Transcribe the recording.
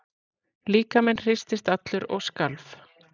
Líkaminn hristist allur og skalf.